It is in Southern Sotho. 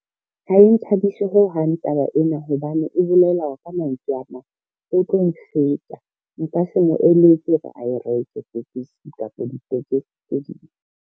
Ha e nthabise ho hang taba ena hobane e bolela hore ka mantswe a mang, o tlo nka se mo eletse hore a e reke tekesi tse ding.